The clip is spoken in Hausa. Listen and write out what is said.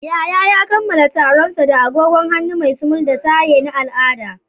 Yahaya ya kammala taron sa da agogon hannu mai sumul da taye na al'ada.